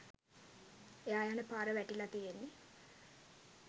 එයා යන පාර වැටිලා තියෙන්නේ